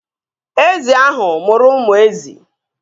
Ezi ahụ mụrụ ụmụ ezi